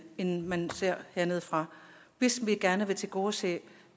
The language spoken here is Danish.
end man gør hernedefra hvis vi gerne vil tilgodese